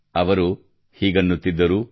ಅವರು ಹೀಗನ್ನುತ್ತಿದ್ದರು